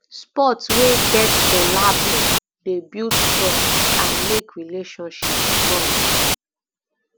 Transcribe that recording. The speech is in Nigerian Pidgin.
sport wey get collabo um dey build trust and make relationship strong